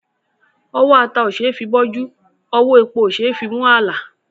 Ọwọ́ ata òṣeé fi bọ́jú; ọwọ́ epo òṣeé fi mú àlà.